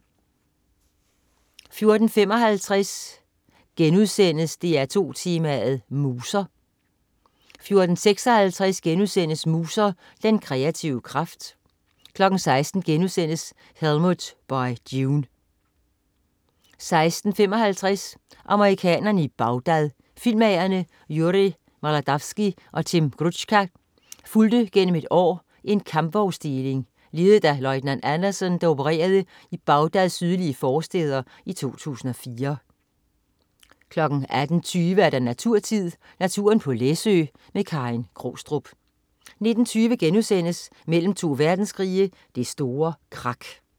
14.55 DR2 Tema: Muser* 14.56 Muser. Den kreative kraft* 16.00 Helmut By June* 16.55 Amerikanere i Bagdad. Filmmagerne Yuri Maldavsky og Tim Grucza fulgte gennem et år en kampvognsdeling, ledet af løjtnant Anderson, der opererede i Bagdads sydlige forstæder i 2004 18.20 Naturtid. Naturen på Læsø. Karin Krogstrup 19.20 Mellem to verdenskrige. Det store krak*